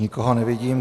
Nikoho nevidím.